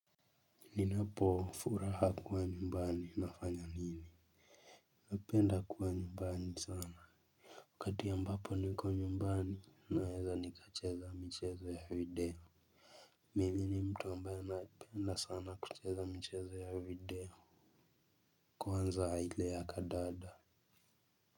Ninapofuraha kuwa nyumbani nafanya nini. Napenda kuwa nyumbani sana wakati ambapo niko nyumbani naweza nikacheza mchezo ya video. Mimi ni mtu ambaye napenda sana kucheza mchezo ya video. Kwanza ile ya kandanda.